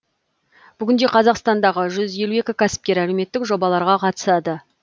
бүгінде қазақстандағы жүз елу екі кәсіпкер әлеуметтік жобаларға қатысады